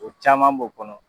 O caman b'o kɔnɔ.